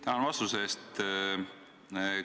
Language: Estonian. Tänan vastuse eest!